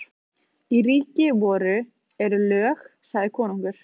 Í ríki voru eru lög, sagði konungur.